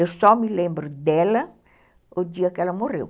Eu só me lembro dela o dia que ela morreu.